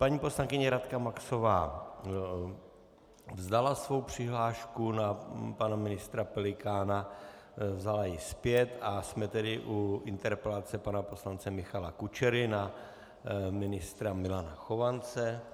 Paní poslankyně Radka Maxová vzdala svou přihlášku na pana ministra Pelikána, vzala ji zpět, a jsme tedy u interpelace pana poslance Michala Kučery na ministra Milana Chovance.